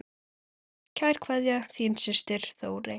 Kær kveðja, þín systir Þórey.